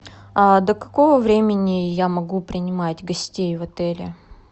до какого времени я могу принимать гостей в отеле